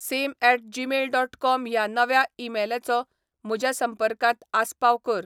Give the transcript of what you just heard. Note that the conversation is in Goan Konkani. sem at Gmail dot com ह्या नव्या ईमेलाचो म्हज्या संपर्कांत आसपाव कर